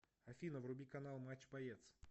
афина вруби канал матч боец